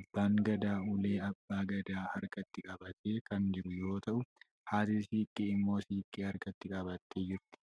Abbaan gadaa ulee abbaa gadaa harkatti qabatee kan jiru yoo tau, haati siinqee immoo siinqee harkatti qabattee jirti.